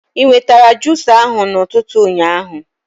E wetara jusa ahụ na ụtụtụ ụnyaahụ